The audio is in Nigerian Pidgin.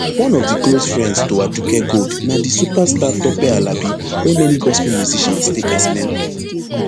one of di close friends to aduke gold na di superstar tope alabi wey many gospel musicians take as mentor